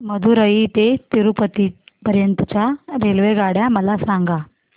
मदुरई ते तिरूपती पर्यंत च्या रेल्वेगाड्या मला सांगा